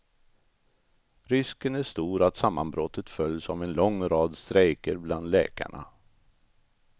Risken är stor att sammanbrottet följs av en lång rad strejker bland läkarna.